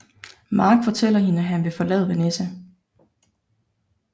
Mark fortæller hende at han vil forlade Vanessa